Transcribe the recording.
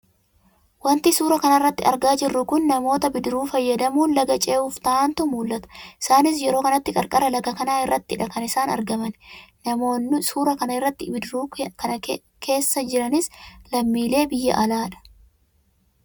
Wanti suuraa kana irratti argaa jirru kun namoota Bidiruu fayyadamuun laga ce'uuf ta'antu mul`ata isaanis yeroo kanatti qarqara laga kanaa irrattidha kan isaan argamani. Namoonno suuraa kana irratti bidiruu kana leessa jiranis lammiilee biyya alaa dha.